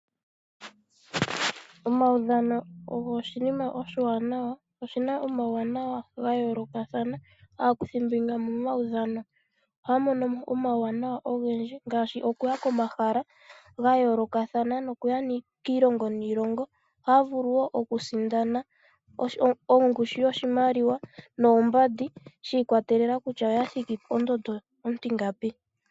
Omaudhano ogo oshinima oshiwanawa. Oge na omawuwanawa ga yoolokathana. Aakuthimbinga momaudhano ohaya mono mo omauwanawa ogendji ngaashi okuya komahala ga yoolokathana nokuya kiilongo niilongo, ohaya vulu wo okusindana ongushu yoshimaliwa noombandi shi ikwatelela kutya oya thiki ponomola ontingapi.